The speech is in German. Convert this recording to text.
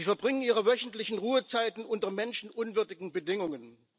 Zweitens Sie verbringen ihre wöchentlichen Ruhezeiten unter menschenunwürdigen Bedingungen.